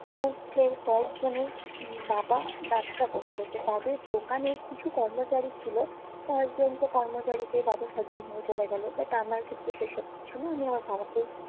মধ্যে কয়েকজনের বাবা ব্যবসা করতো তো তাদের দোকানে কিছু কর্মচারী ছিলো অনেক জনতো কর্মচারীকে বাবু সাজিয়ে নিয়ে চলে গেলো but আমার ক্ষেত্রে সে সব কিছু না আমি আমার বাবাকে